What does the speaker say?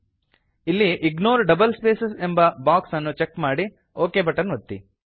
ಇಲ್ಲಿ ignore double space ಎಂಬ box ಅನ್ನು ಚೆಕ್ ಮಾಡಿ ಒಕ್ ಬಟನ್ ಒತ್ತಿ